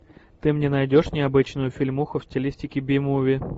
ты мне найдешь необычную фильмуху в стилистике би муви